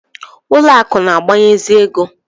Ụlọ akụ̀ na-agbazinye ego.